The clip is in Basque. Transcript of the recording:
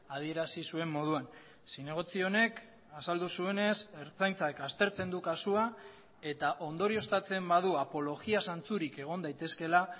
adierazi zuen moduan zinegotzi honek azaldu zuenez ertzaintzak aztertzen du kasua eta ondorioztatzen badu apologia zantzurik egon daitezkeela